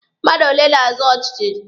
Mmadụ ole na-azọ ọchịchị?